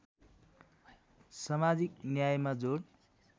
समाजिक न्यायमा जोड